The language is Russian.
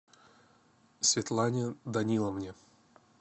светлане даниловне